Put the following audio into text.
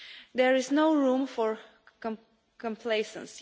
There is no room for complacency.